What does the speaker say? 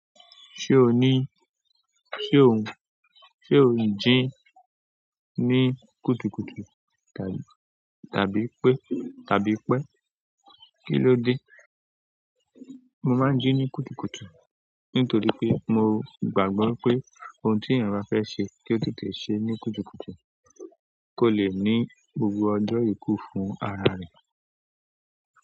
Ṣé o ní, ṣe òun, ṣe ò ń jí ní kùtùkùtù tàbí pé, tàbí pẹ́? Kí ló dé? Mo máa ń jí ní kùtùkùtù nítorí pé mo gbàgbọ́ pé ohun tí èèyàn bá fẹ́ ṣe kí ó tètè ṣe é ní kùtùkùtù kó le ní gbogbo ọjọ́ ikú fún ara rẹ̀.